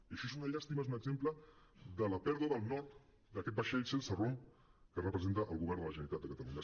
i això és una llàstima és un exemple de la pèrdua del nord d’aquest vaixell sense rumb que representa el govern de la generalitat de catalunya